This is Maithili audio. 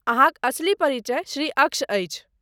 अहाँक असली परिचय श्री अक्ष अछि।